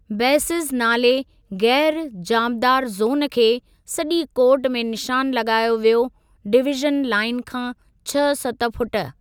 Basis नाले ग़ैरु जांबदार ज़ोन खे सॼी कोर्ट में निशान लॻायो वियो डिवीज़न लाईन खां छह सत फुट।